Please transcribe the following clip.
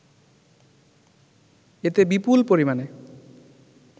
এতে বিপুল পরিমাণে